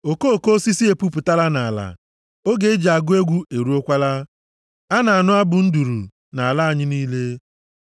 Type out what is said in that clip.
Okoko osisi epupụtala nʼala; oge eji agụ egwu eruokwala, a na-anụ abụ nduru nʼala anyị niile.